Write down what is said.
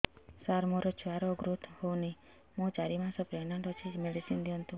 ସାର ମୋର ଛୁଆ ର ଗ୍ରୋଥ ହଉନି ମୁ ଚାରି ମାସ ପ୍ରେଗନାଂଟ ଅଛି ମେଡିସିନ ଦିଅନ୍ତୁ